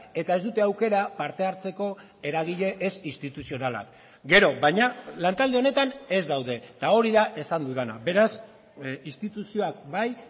eta ez dute aukera parte hartzeko eragile ez instituzionalak gero baina lantalde honetan ez daude eta hori da esan dudana beraz instituzioak bai